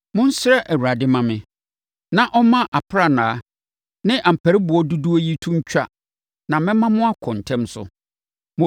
Monsrɛ Awurade mma me, na ɔmma aprannaa ne ampariboɔ dodoɔ yi to ntwa na mɛma mo akɔ ntɛm so.”